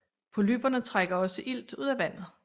Polypperne trækker også ilt ud af vandet